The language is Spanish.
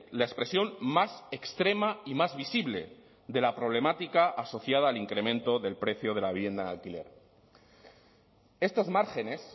la expresión más extrema y más visible de la problemática asociada al incremento del precio de la vivienda en alquiler estos márgenes